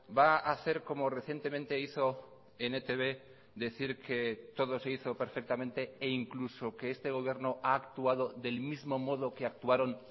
va a hacer como recientemente hizo en etb decir que todo se hizo perfectamente e incluso que este gobierno ha actuado del mismo modo que actuaron